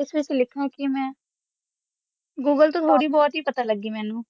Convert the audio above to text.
ਆਸ ਵਿਤਚ ਲਿਖਾ ਕੀ ਮਾ google ਤੋ ਥੋਰੀ ਬੋਹਤ ਹੀ ਪਤਾ ਲਾਗੀ ਆ ਮੇਨੋ